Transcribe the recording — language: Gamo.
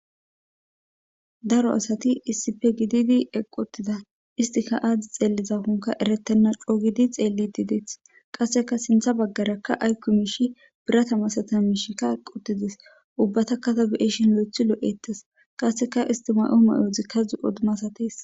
Daro asati issife gididi eqqotida istika aadzdi xeellizakonka eretenna coogidi xeelli dideeth qasseka sintha baggaraka aykko miishi biratamasata miishikka quttides ubbata katabe'eshin lo'ethi lo'ettas qasseka istima'o mayozikka zu odumasates.